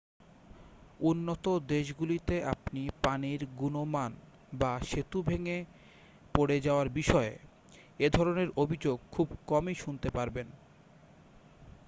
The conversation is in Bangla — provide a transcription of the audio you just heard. উন্নত দেশগুলিতে আপনি পানির গুণমান বা সেতু ভেঙে পড়ে যাওয়ার বিষয়ে এ ধরণের অভিযোগ খুব কমই শুনতে পাবেন